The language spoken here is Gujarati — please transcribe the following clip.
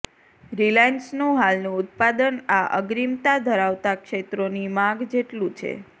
રિલાયન્સનું હાલનું ઉત્પાદન આ અગ્રિમતા ધરાવતાં ક્ષેત્રોની માગ જેટલું છે